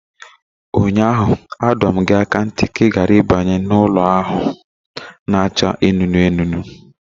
Ụnyaahụ, adọ m gị aka ná ntị ka ị ghara ịbanye na ụlọ ahụ na-acha anụnụ anụnụ